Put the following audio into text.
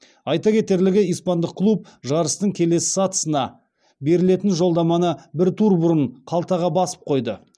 айта кетерлігі испандық клуб жарыстың келесі сатысына берілетін жолдаманы бір тур бұрын қалтаға басып қойды